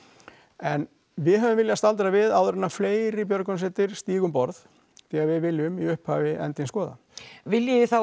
en við höfum viljað staldra við áður en fleiri björgunarsveitir stíga um borð því að við viljum í upphafi endinn skoða viljið þið þá